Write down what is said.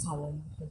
ka wɔn ho.